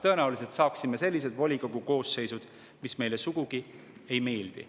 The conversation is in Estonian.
Tõenäoliselt saaksime sellised volikogu koosseisud, mis meile sugugi ei meeldi.